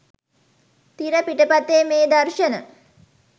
තිර පිටපතේ මේ දර්ශන